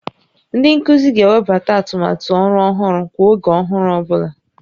Ndị nkuzi ga-ewebata atụmatụ ọrụ ọhụrụ kwa oge ọhụrụ ọ bụla